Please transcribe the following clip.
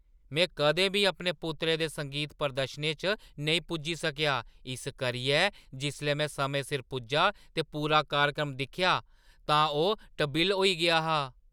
में कदें बी अपने पुत्तरै दे संगीत प्रदर्शनें च नेईं पुज्जी सकेआ, इस करियै जिसलै में समें सिर पुज्जा ते पूरा कार्यक्रम दिक्खेआ तां ओह् टबिल्ल होई गेआ हा।